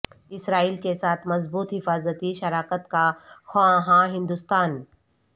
اسرائیل کے ساتھ مضبوط حفاظتی شراکت کا خواہاں ہندوستان